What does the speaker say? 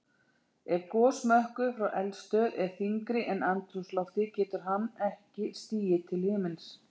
Ef gosmökkur frá eldstöð er þyngri en andrúmsloftið getur hann ekki stigið til himins.